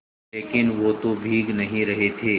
लेकिन वो तो भीग नहीं रहे थे